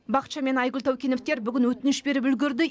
бақытжан мен айгүл таукеновтер бүгін өтініш беріп үлгерді